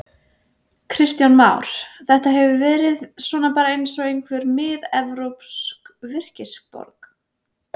Kristján Már: Þetta hefur svona verið bara eins og einhver miðevrópsk virkisborg?